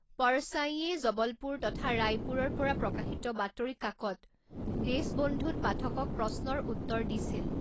পৰসাঈয়ে জবলপুৰ তথা ৰায়পুৰৰ পৰা প্ৰকাশিত বাতৰি কাকত দেশবন্ধুত পাঠকক প্ৰশ্নৰ উত্তৰ দিছিল।